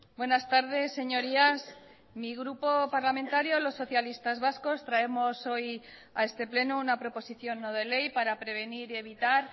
buenas tardes señorías mi grupo parlamentario los socialistas vascos traemos hoy a este pleno una proposición no de ley para prevenir y evitar